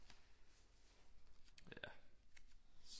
Ja